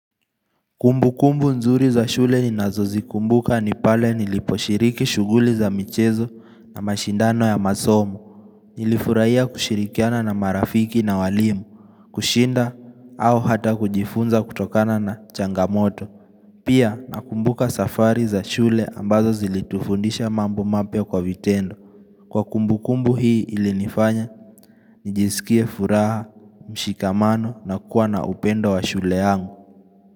Kumbu kumbu nzuri za shule ni nazo zikumbuka ni pale niliposhiriki shughuli za michezo na mashindano ya masomo Nilifurahia kushirikiana na marafiki na walimu, kushinda au hata kujifunza kutokana na changamoto Pia nakumbuka safari za shule ambazo zilitufundisha mambo mapya kwa vitendo Kwa kumbu kumbu hii ilinifanya nijisikie furaha, mshikamano na kuwa na upendo wa shule yangu.